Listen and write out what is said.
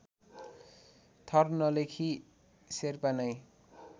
थर नलेखी शेर्पा नै